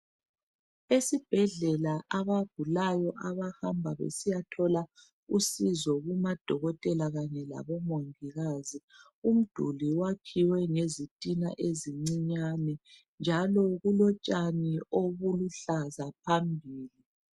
Esibhedlela abagulayo abahamba besiyathola usizo kumadokotela kanye labo mongikazi umduli wakhiwe ngezitina ezincinyane njalo kulotshani obuluhlaza phambili.